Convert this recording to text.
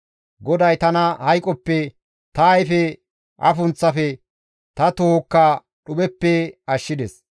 GODAY tana hayqoppe, ta ayfe afunththafe, ta tohokka dhupheppe ashshides.